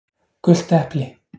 gult epli